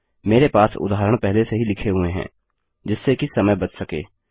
मेरे पास उदाहरण पहले से ही लिखे हुए हैं जिससे की समय बच सके